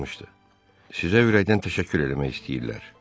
Sizə ürəkdən təşəkkür eləmək istəyirlər.